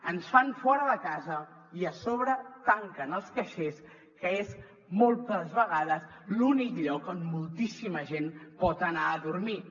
ens fan fora de casa i a sobre tanquen els caixers que és moltes vegades l’únic lloc on moltíssima gent pot anar a dormir